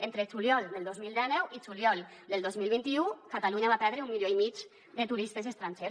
entre el juliol del dos mil dinou i juliol del dos mil vint u catalunya va perdre un milió i mig de turistes estrangers